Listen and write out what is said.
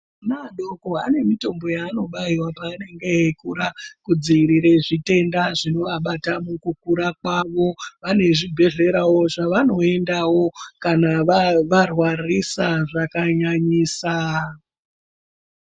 Vana vadoko vane mitombo yaanobaiwa paanenge eikura kudzivirira zvitenda zvinovabata mukukura kwavo, vane zvibhedhlera zvavanoindawo kana varwarisa zvakanyanyisa.